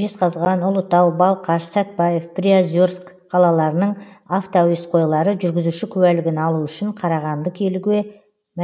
жезқазған ұлытау балқаш сәтбаев приозерск қалаларының автоәуесқойлары жүргізуші куәлігін алу үшін қарағанды келуге